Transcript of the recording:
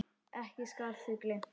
Ekki skal því gleymt.